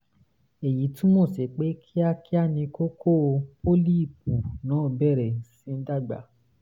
èyí túmọ̀ sí pé kíákíá ni kókó (pólíìpù) náà bẹ̀rẹ̀ sí í dàgbà